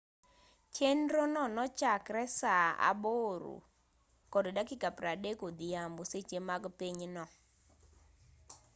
chenro no nochakre saa 8:30 odhiambo seche mag pinyno 15.00 utc